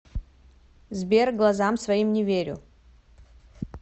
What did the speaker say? сбер глазам своим не верю